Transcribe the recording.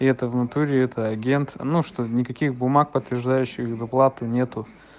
и это в натуре это агент ну что никаких бумаг подтверждающих доплату нету